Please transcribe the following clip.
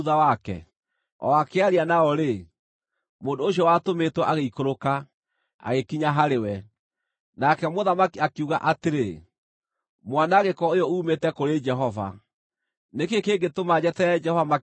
O akĩaria nao-rĩ, mũndũ ũcio watũmĩtwo agĩikũrũka, agĩkinya harĩ we. Nake mũthamaki akiuga atĩrĩ, “Mwanangĩko ũyũ uumĩte kũrĩ Jehova. Nĩ kĩĩ kĩngĩtũma njeterere Jehova makĩria ma ũguo?”